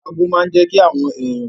Ago máa n jẹ́ kí àwọn èèyàn